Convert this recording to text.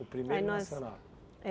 O primeiro Aí nós Nasceu lá. É